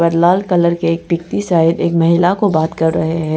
लाल colour के side एक महिला को बात कर रहे है।